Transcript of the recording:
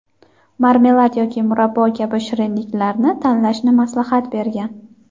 marmelad yoki murabbo kabi shirinliklarni tanlashni maslahat bergan.